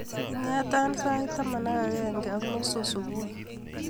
Ingetaa sait taman ak agenge ak nusu subui